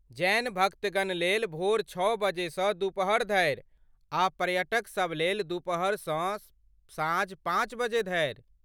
जैन भक्तगण लेल भोर छओ बजेसँ दुपहर धरि आ पर्यटकसब लेल दुपहरसँ साँझ पाँच बजे धरि।